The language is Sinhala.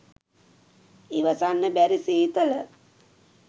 ඉවසන්න බැරි සීතල